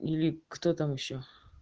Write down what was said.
или кто там ещё